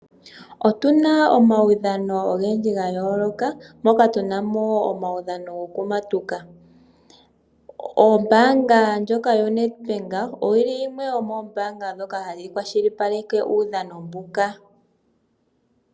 Otu na omaudhano ogendji gayooloka, moka tu na mo wo omaudhano gokumatuka. Ombaanga ndjoka yoNedbank, oyili yimwe yomoombaaanga ndhoka hadhi kwashilipaleke uudhano mbuka.